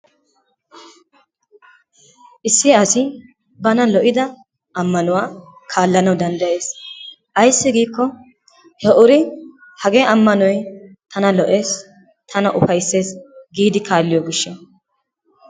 Issi asi bana lo'ida ammanuwa kaalanawu danddayees. Ayssi giiko he uri hagee ammanoy tana lo'ees, tana ufayssees gidi kaalliyo gishshawu.